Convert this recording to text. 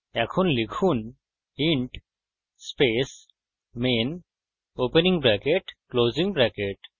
এখন লিখুন int space main opening bracket closing bracket